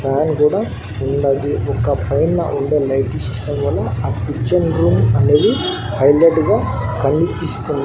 Fan గూడా ఉన్నది ఒక పైన ఉండే లైటిష్ సిస్టమ్ వల్ల ఆ కిచెన్ రూం అనేది హైలైట్ గా కన్పిస్తూ.